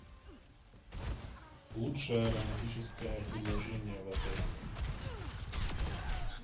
лучшее романтическое предложение в отеле